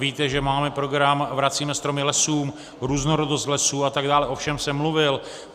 Víte, že máme program Vracíme stromy lesům, Různorodost lesů atd., o všem jsem mluvil.